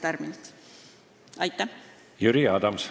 Jüri Adams.